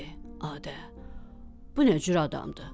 Adə, bu nə cür adamdır?